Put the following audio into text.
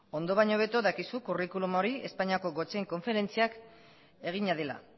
ondo baino hobeto dakizu zuk curriculum hori espainiako gotzain konferentziak egina dela